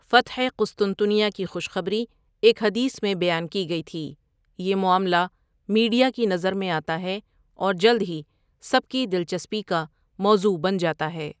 فتح قسطنطنیہ کی خوشخبری ایک حدیث میں بیان کی گئی تھی یہ معاملہ میڈیا کی نظر میں آتا ہے اور جلد ہی سب کی دلچسپی کا موضوع بن جاتا ہے۔